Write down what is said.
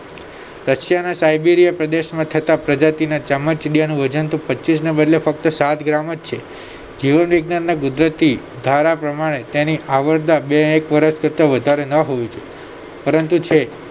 રશીયાના Siberia પ્રદેશમાં થતા ચામાચીયાનું વજન પચીસ ને બદલે માત્ર સાત gram જ છે જીવનવિજ્ઞાનના ગુજરાતી ધારા પ્રમાણે એની આવરદા બેક વર્ષ કરતા વધારે ના હોવી જોયે પરંતુ છે